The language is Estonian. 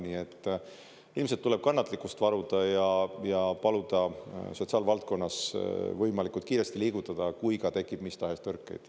Nii et ilmselt tuleb kannatlikkust varuda ja paluda sotsiaalvaldkonnas võimalikult kiiresti liigutada, kui ka tekib mis tahes tõrkeid.